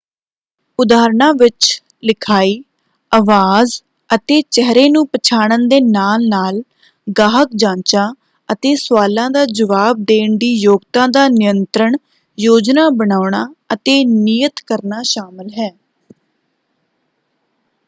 ਉਦਾਹਰਨਾਂ ਵਿੱਚ ਲਿਖਾਈ ਅਵਾਜ਼ ਅਤੇ ਚਿਹਰੇ ਨੂੰ ਪਛਾਣਨ ਦੇ ਨਾਲ-ਨਾਲ ਗਾਹਕ ਜਾਂਚਾਂ ਅਤੇ ਸਵਾਲਾਂ ਦਾ ਜਵਾਬ ਦੇਣ ਦੀ ਯੋਗਤਾ ਦਾ ਨਿਯੰਤਰਣ ਯੋਜਨਾ ਬਣਾਉਣਾ ਅਤੇ ਨਿਯਤ ਕਰਨਾ ਸ਼ਾਮਲ ਹੈ।